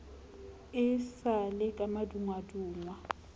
e sa le ka madungwadungwa